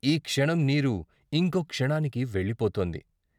ఈ క్షణం నీరు ఇంకో క్షణానికి వెళ్ళిపోతోంది.